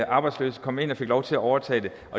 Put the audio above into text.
arbejdsløse kom ind og fik lov til at overtage det